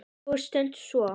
Það er stundum svo.